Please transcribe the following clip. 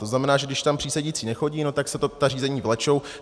To znamená, že když tam přísedící nechodí, tak se ta řízení vlečou.